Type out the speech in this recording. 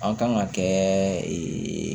An kan ka kɛ